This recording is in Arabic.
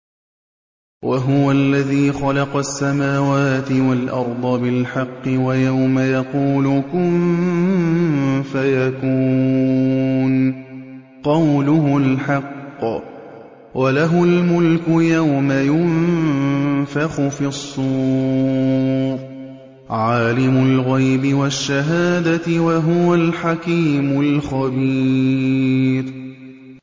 وَهُوَ الَّذِي خَلَقَ السَّمَاوَاتِ وَالْأَرْضَ بِالْحَقِّ ۖ وَيَوْمَ يَقُولُ كُن فَيَكُونُ ۚ قَوْلُهُ الْحَقُّ ۚ وَلَهُ الْمُلْكُ يَوْمَ يُنفَخُ فِي الصُّورِ ۚ عَالِمُ الْغَيْبِ وَالشَّهَادَةِ ۚ وَهُوَ الْحَكِيمُ الْخَبِيرُ